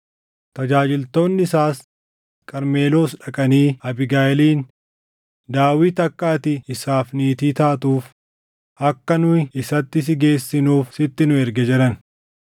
Tajaajiltoonni isaas Qarmeloos dhaqanii Abiigayiiliin, “Daawit akka ati isaaf niitii taatuuf akka nu isatti si geessinuuf sitti nu erge” jedhan.